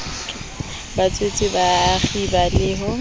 batswetse ba kgiba ho le